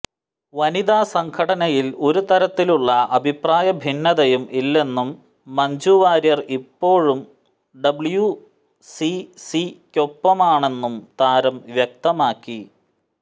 വനിത സംഘടനയിൽ ഒരു തരത്തിലുള്ള അഭിപ്രായ ഭിന്നതയും ഇല്ലെന്നും മഞ്ജു വാര്യർ ഇപ്പോഴും ഡബ്യൂസിസിയ്ക്കൊപ്പമാണെന്നും താരം വ്യക്തമാക്കി